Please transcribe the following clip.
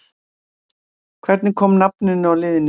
Hvernig kom nafninu á liðinu til?